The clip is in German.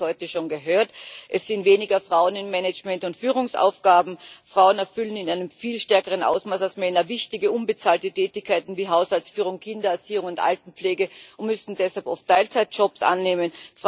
Wir haben einiges heute schon gehört Es sind weniger Frauen in Management und Führungsaufgaben, Frauen erfüllen in einem viel stärkeren Ausmaß als Männer wichtige unbezahlte Tätigkeiten wie Haushaltsführung, Kindererziehung und Altenpflege, und müssen deshalb oft Teilzeitjobs annehmen.